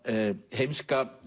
heimska